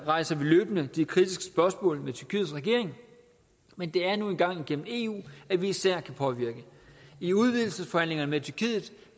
rejser vi løbende de kritiske spørgsmål med tyrkiets regering men det er nu engang gennem eu at vi især kan påvirke i udvidelsesforhandlingerne